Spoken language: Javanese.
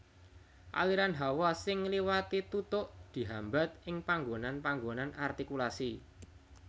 Aliran hawa sing ngliwati tutuk dihambat ing panggonan panggonan artikulasi